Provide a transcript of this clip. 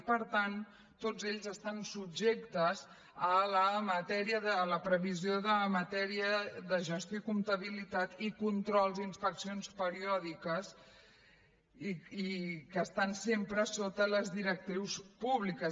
i per tant tots estan subjectes a la previsió de matèria de gestió i comptabilitat i controls i inspeccions periòdiques que estan sempre sota les directrius públiques